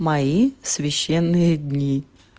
мои священные дни